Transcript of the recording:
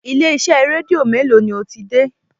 Ilé-iṣẹ́ Rédíó mélòó ni o ti dé?